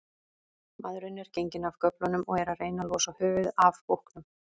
Maðurinn er genginn af göflunum og er að reyna losa höfuðið af búknum.